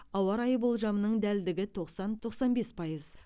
ауа райы болжамының дәлдігі тоқсан тоқсан бес пайыз